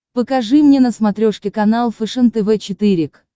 покажи мне на смотрешке канал фэшен тв четыре к